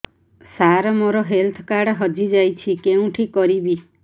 ସାର ମୋର health card ହଜି ଯାଇଛି କେଉଁଠି କରିବି